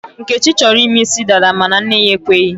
Nkechi chọrọ ịme isi dada mana nne ya ekweghị.